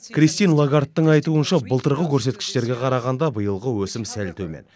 кристин лагардтың айтуынша былтырғы көрсеткіштерге қарағанда биылғы өсім сәл төмен